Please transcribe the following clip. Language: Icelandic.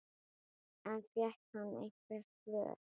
En fékk hann einhver svör?